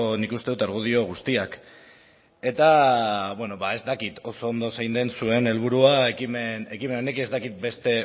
nik uste dut argudio guztiak eta ez dakit oso ondo zein den zuen helburua ekimen honekin ez dakit beste